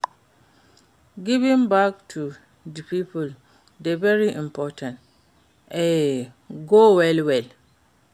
Giving back to di people dey very important, e goo well well.